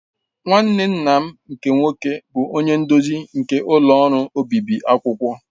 Nwanne nna m nke nwoke bụ onye nduzi nke ọlụ ọrụ obibi akwụkwọ.